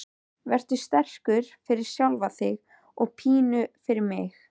Vertu sterkur, fyrir sjálfan þig og pínu fyrir mig.